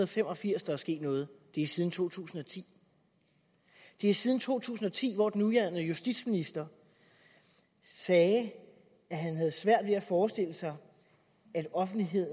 fem og firs der er sket noget det er siden to tusind og ti det er siden to tusind og ti hvor den nuværende justitsminister sagde at han havde svært ved at forestille sig at offentlighed